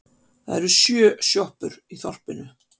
Það eru sjö sjoppur í þorpinu!